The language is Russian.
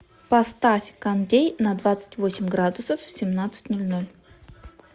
поставь кондей на двадцать восемь градусов в семнадцать ноль ноль